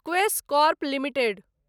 Quess Corp limited